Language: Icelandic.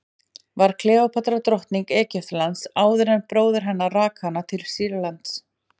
var kleópatra drottning egyptalands áður en bróðir hennar rak hana til sýrlands